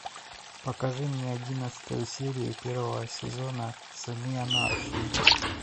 покажи мне одиннадцатую серию первого сезона сыны анархии